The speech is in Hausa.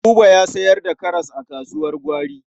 Buba ya sayar da karas a kasuwar gwari.